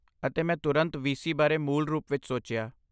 ਅਤੇ ਮੈਂ ਤੁਰੰਤ ਵੀਸੀ ਬਾਰੇ ਮੂਲ ਰੂਪ ਵਿੱਚ ਸੋਚਿਆ।